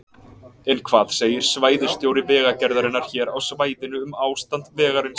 En hvað segir svæðisstjóri Vegagerðarinnar hér á svæðinu um ástand vegarins?